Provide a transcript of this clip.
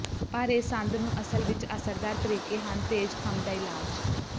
ਪਰ ਇਹ ਸੰਦ ਨੂੰ ਅਸਲ ਵਿੱਚ ਅਸਰਦਾਰ ਤਰੀਕੇ ਹਨ ਤੇਜਖਮ ਦਾ ਇਲਾਜ